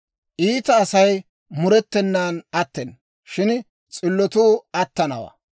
Iita Asay murettenan attena; shin s'illotuu attanawantta.